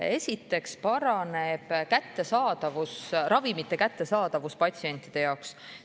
Esiteks paraneb ravimite kättesaadavus patsientide jaoks.